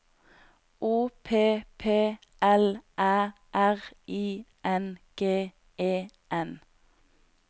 O P P L Æ R I N G E N